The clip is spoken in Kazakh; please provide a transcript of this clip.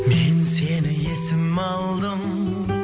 мен сені есіме алдым